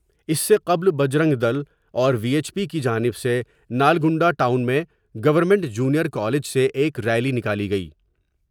اس سے قبل بجرنگ دل اور وی ایچ پی کی جانب سے نلگنڈہ ٹاؤن میں گورنمنٹ جونیئر کالج سے ایک ریلی نکالی گئی ۔